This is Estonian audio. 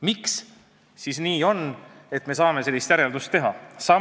Miks siis on nii, et me saame sellise järelduse teha?